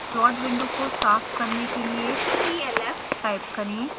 plot window को साफ करने के लिए clf टाइप करें